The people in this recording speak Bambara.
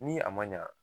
Ni a ma ɲa